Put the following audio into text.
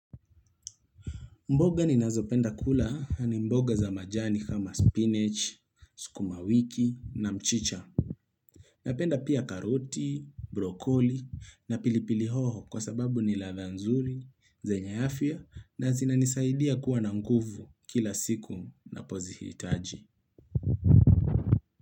Mboga ni nazopenda kula ni mboga za majani kama spinach, skumawiki na mchicha. Napenda pia karoti, brokoli na pilipili hoho kwa sababu ni ladha nzuri, zenye afya na zinanisaidia kuwa na nguvu kila siku napozihitaji.